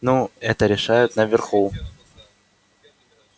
ну это решают наверху